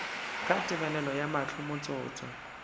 ka tebelego ya mahlo motsotso